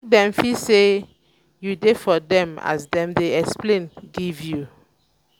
make dem feel say you de for dem as dem de explain give you